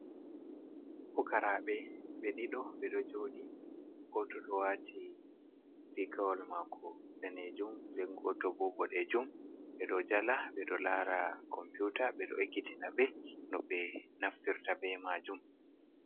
Fukaraɓe. Ɓe ɗiɗo, ɓe ɗo jooɗi. Gooto ɗo waati rigawol maako daneejum, nden gooto bo boɗeejum. Ɓe ɗo jala, ɓe ɗo laara komputa, ɓe ɗo ekkitina ɓe no ɓe naftirta be maajum.